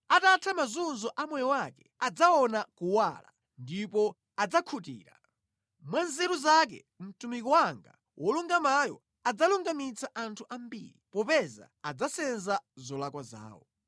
Atatha mazunzo a moyo wake, adzaona kuwala, ndipo adzakhutira. Mwa nzeru zake mtumiki wanga wolungamayo adzalungamitsa anthu ambiri, popeza adzasenza zolakwa zawo.